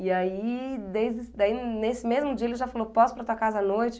E aí, desde, daí nesse mesmo dia, ele já falou, posso ir para a tua casa à noite?